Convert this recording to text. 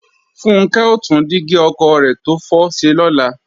Funkẹ́ ó tún dígí ọkọ̀ rẹ̀ tó fọ́ ṣe lọ́la